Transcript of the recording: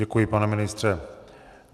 Děkuji, pane ministře.